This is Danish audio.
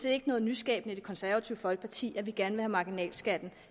ikke noget nyskabende i det konservative folkeparti at vi gerne marginalskatten